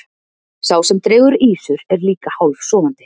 sá sem dregur ýsur er líka hálfsofandi